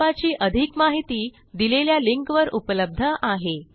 प्रकल्पाची अधिक माहिती दिलेल्या लिंकवर उपलब्ध आहे